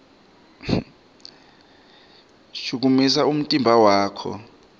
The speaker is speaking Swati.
shukumisa umtimba wakho